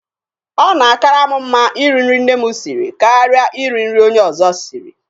O na-akaara mụ mma Ị ri nri nne mụ siri karịa ị ri nri onye ọzọ siri.